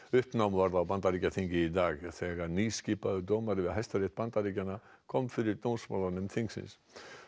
uppnám varð á Bandaríkjaþingi í dag þegar nýskipaður dómari við Hæstarétt Bandaríkjanna kom fyrir þingsins